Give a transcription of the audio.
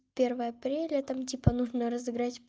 первое апреля там типа нужно разыграть